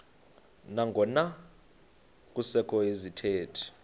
nangona kusekho izithethi